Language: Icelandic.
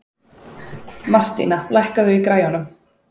Martína, lækkaðu í græjunum.